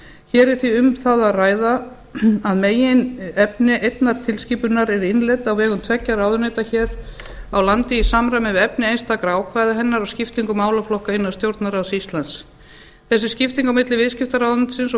hér er því um það að ræða að meginefni einnar tilskipunar er innleidd á vegum tveggja ráðuneyta hér á landi í samræmi við efni einstakra ákvæða hennar og skiptingu málaflokka innan stjórnarráðs íslands þessi skipting á milli viðskiptaráðuneytisins og